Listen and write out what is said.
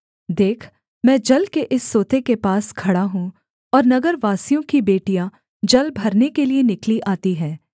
देख मैं जल के इस सोते के पास खड़ा हूँ और नगरवासियों की बेटियाँ जल भरने के लिये निकली आती हैं